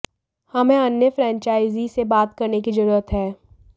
हमें अन्य फ्रेंचाइजी से बात करने की जरूरत है